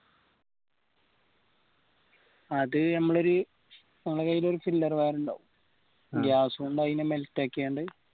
അത് നമ്മൾ ഒരു നമ്മളെ കയ്യിലൊരു wire ഉണ്ടാവും gas മ്മ അയിന melt ആക്കിയോൻഡ്